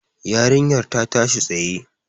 Yarinyar ta tashi tsaye.